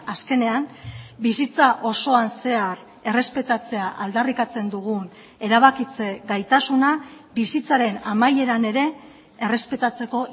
azkenean bizitza osoan zehar errespetatzea aldarrikatzen dugun erabakitze gaitasuna bizitzaren amaieran ere errespetatzeko